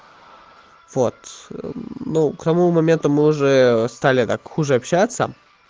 вот ну к тому моменту мы уже стали так хуже общаться